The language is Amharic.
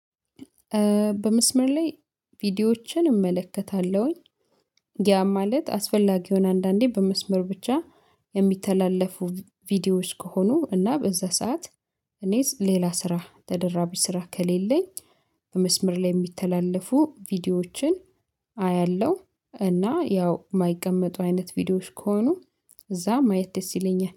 በመስመር ላይ ቪዲዮዎችን እመለከታለሁኝ። ያ ማለት አስፈላጊ የሆነ አንዳንዴ በመስመር ብቻ የሚተላለፉ ቪዲዮዎች ከሆኑ እና በዛ ሰዓት እኔስ ሌላ ስራ ተደራቢ ስራ ከሌለኝ። በመስመር ላይ የሚተላለፉ ቪዲዮዎችን አያለሁ። እና ያው የማይቀመጡ አይነት ቪዲዮዎች ከሆኑ እዛ ማየት ደስ ይለኛል